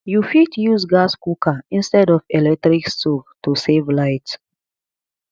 you fit use gas cooker instead of electric stove to save light